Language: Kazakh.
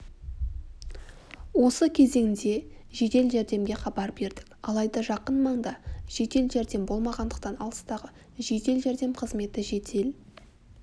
осы кезеңде жедел жәрдемге хабар бердік алайда жақын маңда жедел-жәрдем болмағандықтан алыстағы жедел-жәрдем қызметі жедел